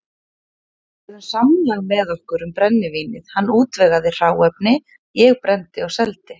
Við gerðum samlag með okkur um brennivínið, hann útvegaði hráefni, ég brenndi og seldi.